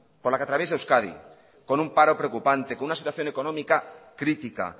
por la que atraviesa euskadi con un paro preocupante con una situación económica crítica